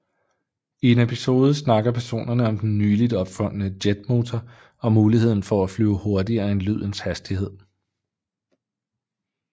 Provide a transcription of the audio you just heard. I en episode snakker personerne om den nyligt opfundne jetmotor og muligheden for at flyve hurtigere end lydens hastighed